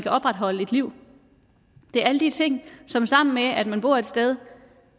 at opretholde et liv det er alle de ting som sammen med at man bor et sted